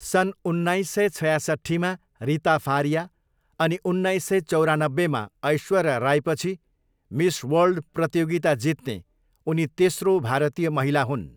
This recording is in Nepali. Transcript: सन् उन्नाइस सय छयासट्ठीमा रिता फारिया अनि उन्नाइस सय चौरानब्बेमा ऐश्वर्या राईपछि मिस वर्ल्ड प्रतियोगिता जित्ने उनी तेस्रो भारतीय महिला हुन्।